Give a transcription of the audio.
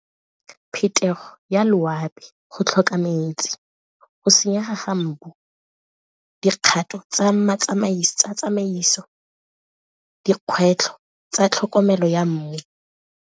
Phetogo ya loapi, go tlhoka metsi, go senyega ga mmu, dikgato tsa tsamaiso, dikgwetlho tsa tlhokomelo ya mmu.